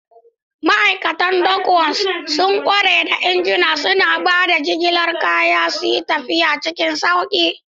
Ma'aikatan Dockworks sun ƙware da injuna, suna ba da damar jigilar kaya suyi tafiya cikin sauƙi.